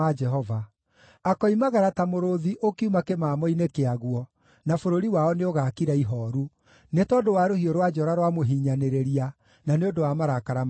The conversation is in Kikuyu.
Akoimagara ta mũrũũthi ũkiuma kĩmamo-inĩ kĩaguo, na bũrũri wao nĩũgaakira ihooru nĩ tondũ wa rũhiũ rwa njora rwa mũhinyanĩrĩria, na nĩ ũndũ wa marakara mahiũ ma Jehova.